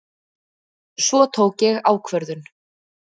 Svo tók ég ákvörðun.